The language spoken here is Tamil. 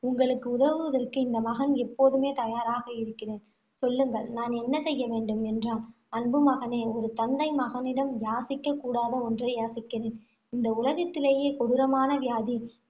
உங்களுக்கு உதவுவதற்கு இந்த மகன் எப்போதுமே தயாராக இருக்கிறேன். சொல்லுங்கள் நான் என்ன செய்ய வேண்டும் என்றான். அன்பு மகனே ஒரு தந்தை மகனிடம் யாசிக்கக் கூடாத ஒன்றை யாசிக்கிறேன். இந்த உலகத்திலேயே கொடூரமான வியாதி